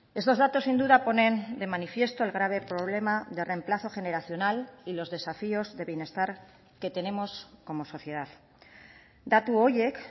estos datos sin duda ponen de manifiesto el grave problema de reemplazo generacional y los desafíos de bienestar que tenemos como sociedad datu horiek